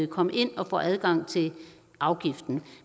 komme ind og få adgang til afgiften